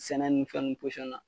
Sɛnɛkɛlawl ni fɛn ninnu posiɔn na